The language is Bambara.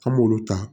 An m'olu ta